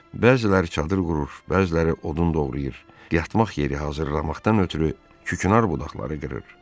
Bəziləri çadır qurur, bəziləri odun doğrayır, yatmaq yeri hazırlamaqdan ötrü kükünar budaqları qırır.